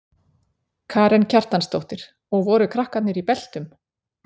Karen Kjartansdóttir: Og voru krakkarnir í beltum?